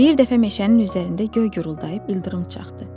Bir dəfə meşənin üzərində göy guruldayıb ildırım çaxdı.